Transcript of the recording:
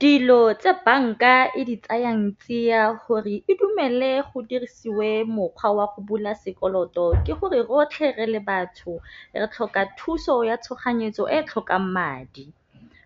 Dilo tse banka e di tsayang tsia gore e dumele go dirisiwe mokgwa wa go bula sekoloto ke gore, rotlhe re le batho re tlhoka thuso ya tshoganyetso e tlhokang madi.